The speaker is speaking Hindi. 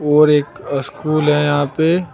और एक अह स्कूल है यहां पे।